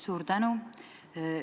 Suur tänu!